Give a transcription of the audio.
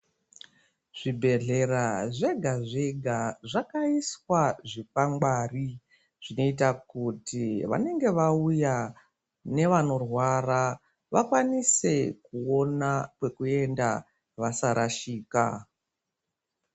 Zvibhedhlera zvega zvega zvakaiswa zvikwangwari zvinoita kuti vanenge vauya nevanorwara vakakwanise kuona kwekuenda vasarashika.